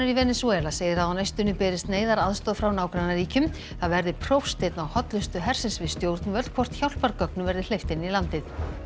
Venesúela segir að á næstunni berist neyðaraðstoð frá nágrannaríkjum það verði prófsteinn á hollustu hersins við stjórnvöld hvort hjálpargögnum verði hleypt inn í landið